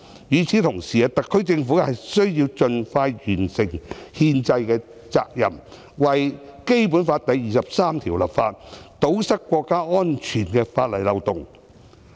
與此同時，特區政府需要盡快完成憲制的責任，為《基本法》第二十三條立法，堵塞國家安全的法例漏洞。